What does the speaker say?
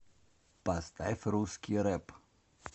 поставь русский рэп